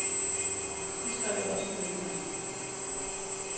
Det skrev jeg også ned i nat.